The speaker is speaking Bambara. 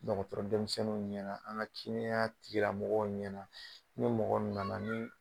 Mɔgɔtɔrɔ denmisɛnninw ɲɛna an ka kɛnya tigla mɔgɔw ɲɛna, ni mɔgɔ nana ni